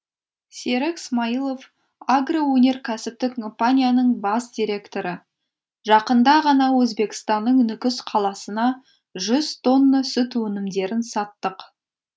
серік смаилов агроөнеркәсіптік компанияның бас директоры жақында ғана өзбекстанның нүкіс қаласына жүз тонна сүт өнімдерін саттық